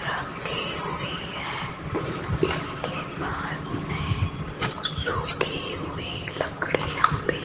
रखी हुई है इसके पास मे सूखी हुई लकड़ियां भी --